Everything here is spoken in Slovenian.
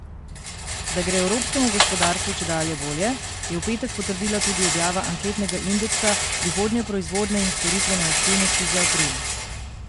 Da gre evropskemu gospodarstvu čedalje bolje, je v petek potrdila tudi objava anketnega indeksa prihodnje proizvodne in storitvene aktivnosti za april.